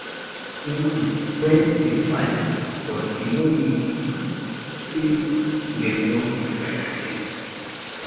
normally friends dey fight but e no mean say dem no be friends again